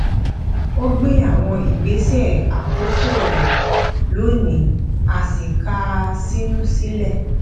ó gbé àwọn ìgbésẹ àkọkọ rẹ lónìí a sì ká a sínú sílẹ